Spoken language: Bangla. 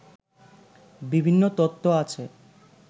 বিভিন্ন তত্ত্ব আছে